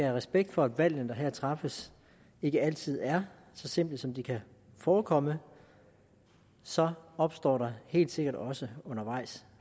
respekt for at valgene der her træffes ikke altid er så simple som de kan forekomme så opstår der helt sikkert også